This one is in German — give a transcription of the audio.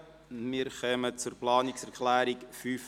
Wir kommen zur Planungserklärung 5.h.